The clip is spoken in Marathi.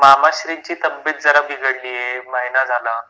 मामाश्रींची तब्बेत जरा बिघडली आहे महिना झाला